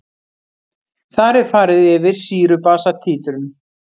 Þar er farið yfir sýru-basa títrun.